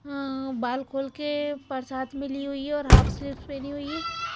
अं बाल खोल के पर्स हाथ में ली हुई है और हाफ सेट पेहनी हुई है।